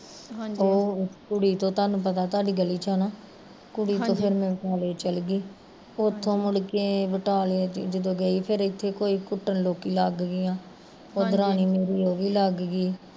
ਉਹ ਕੁੜੀ ਤਾਂ ਤੁਹਾਨੂੰ ਪਤਾ ਤੁਹਾਡੀ ਗਲੀ ਚ ਆ ਹੈਨਾ ਕੁੜੀ ਤੋਂ ਫਿਰ ਮੈਂ ਬਟਾਲੇ ਚੱਲਗੀ, ਉੱਥੋਂ ਮੁੜ ਕੇ ਬਟਾਲਿਓ ਜਦੋਂ ਗਈ ਫਿਰ ਇੱਥੇ ਕੋਈ ਕੁੱਟਣ ਲੋਕੀਂ ਲੱਗ ਗਈਆ